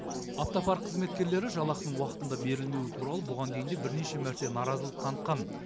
автопарк қызметкерлері жалақының уақытында берілмеуі туралы бұған дейін де бірнеше мәрте наразылық танытқан